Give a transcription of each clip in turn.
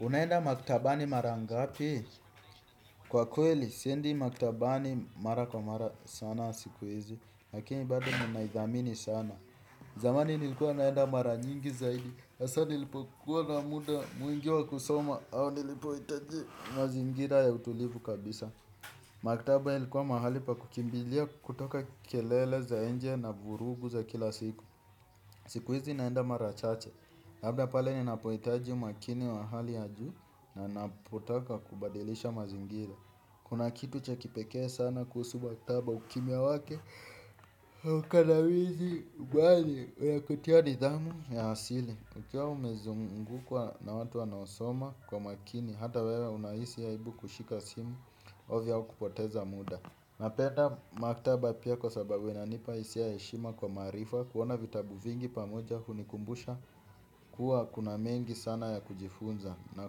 Unaenda maktabani mara ngapi? Kwa kweli siendi maktabani mara kwa mara sana siku hizi lakini bado ninaidhamini sana. Zamani nilikuwa naenda mara nyingi zaidi hasa nilipokuwa na muda mwingi wa kusoma au nilipohitaji mazingira ya utulivu kabisa. Maktaba ilikuwa mahali pa kukimbilia kutoka kelele za nje na vurugu za kila siku. Siku hizi naenda mara chache, labda pale ninapohitaji makini wa hali ya juu na napotaka kubadilisha mazingira. Kuna kitu cha kipekee sana kuhusu maktaba. Ukimya wake ukandamizi kweli unakutia nidhamu ya asili ukiwa umezungukwa na watu wanaosoma kwa makini. Hata wewe unahisi aibu kushika simu ovya ya kupoteza muda. Napenda maktaba pia kwa sababu inanipa hisia ya heshima kwa maarifa kuona vitabu vingi pamoja hunikumbusha kuwa kuna mengi sana ya kujifunza na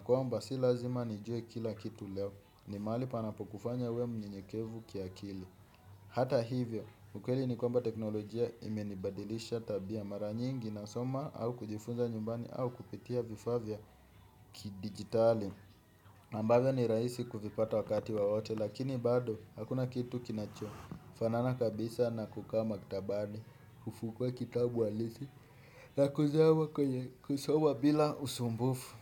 kwamba si lazima nijue kila kitu leo ni mahali panapokufanya uwe mnyenyekevu kiakili hata hivyo ukweli ni kwamba teknolojia imenibadilisha tabia mara nyingi nasoma au kujifunza nyumbani au kupitia vifaa vya kidigitali ambavyo ni rahisi kuvipata wakati wowote lakini bado hakuna kitu kinachofanana kabisa na kukaa maktabani, kufungua kitabu halisi, na kuzama kwenye kusoma bila usumbufu.